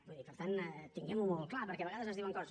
vull dir per tant tinguem ho molt clar perquè a vegades es diuen coses